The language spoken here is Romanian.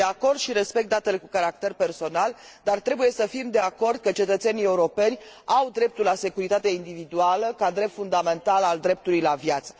Sunt de acord și respect datele cu caracter personal, dar trebuie să fim de acord că cetățenii europeni au dreptul la securitatea individuală ca drept fundamental al dreptului la viață.